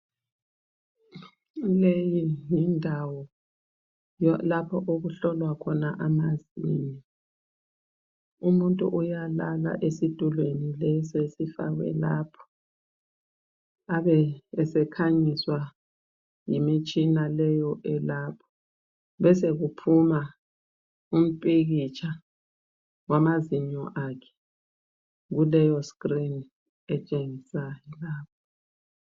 Leyi yindawo lapho okuhlolwa khona amazinyo umuntu uyalala esitulweni leso esifakwe lapho, abe esekhanyiswa yimitshina leyi elapho. Besekuphuma umphikitsha wamazinyo akhe kuleyo screen etshengisayo lapho.